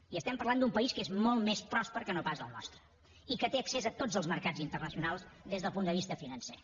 i estem parlant d’un país que és molt més pròsper que no pas el nostre i que té accés a tots els mercats internacionals des del punt de vista financer